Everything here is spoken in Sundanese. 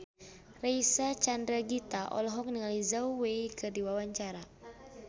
Reysa Chandragitta olohok ningali Zhao Wei keur diwawancara